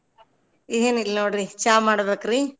ಏನ್ ಇಲ್ ನೋಡ್ರಿ ಚಾ ಮಾಡ್ಬೇಕ್ರೀ.